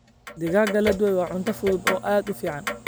Digaagga la dubay waa cunto fudud oo aad u fiican.